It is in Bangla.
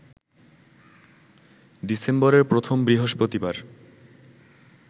ডিসেম্বরের প্রথম বৃহস্পতিবার